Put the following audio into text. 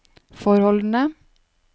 forholdene